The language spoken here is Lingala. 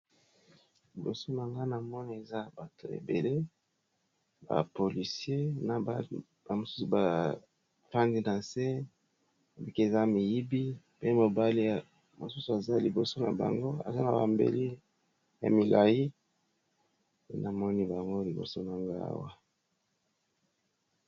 Liboso mangana moni eza bato ebele bapolisier na bamosusu fange na nse obiki eza miyibi pe mobali ya mosusu aza liboso na bango eza na bambeli ya milai pe na moni bango liboso na ngaawa.